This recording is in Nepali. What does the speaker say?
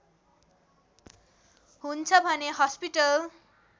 हुन्छ भने हस्पिटल